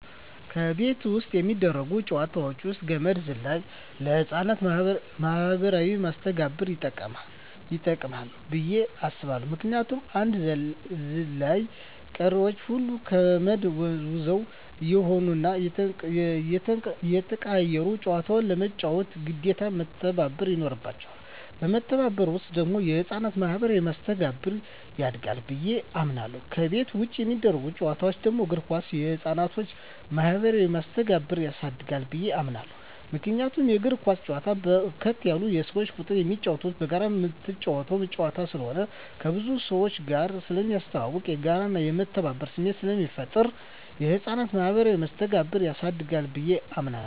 ከቤት ውስጥ የሚደረጉ ጨዋታወች ውስጥ ገመድ ዝላይ ለህፃናት ማኀበራዊ መስተጋብር ይጠቅማ ብየ አስባለሁ ምክንያቱም አንዱ ዘላይ ቀሪወች ሁለቱ ከመድ ወዝዋዥ እየሆኑና እየተቀያየሩ ጨዋታውን ለመጫወት ግዴታ መተባበር ይኖርባቸዋል በመተባበር ውስጥ ደግሞ የህፃናት ማኋበራዊ መስተጋብር ያድጋል ብየ አምናለሁ። ከቤት ውጭ የሚደረጉ ጨዋታወች ደግሞ እግር ኳስ የህፃናትን ማህበራዊ መስተጋብር ያሳድጋል ብየ አምናለሁ። ምክንያቱም እግር ኳስ በርከት ያለ የሰው ቁጥር የሚጫወትበትና በጋራ ምትጫወተው ጨዋታ ስለሆነ ከብዙ ሰውጋር ስለሚያስተዋውቅ፣ የጋራና የመተባበር ስሜት ስለሚፈጥር የህፃናትን ማኀበራዊ መስተጋብር ያሳድጋል ብየ አምናለሁ።